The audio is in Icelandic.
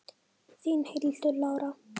Þín, Hildur Lára.